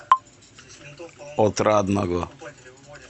отрадного